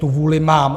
Tu vůli mám.